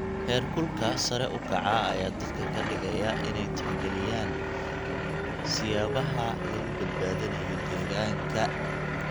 Heerkulka sare u kaca ayaa dadka ka dhigaya inay tixgeliyaan siyaabaha lagu badbaadinayo deegaanka.